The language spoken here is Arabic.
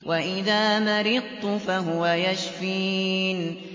وَإِذَا مَرِضْتُ فَهُوَ يَشْفِينِ